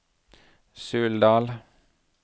Suldal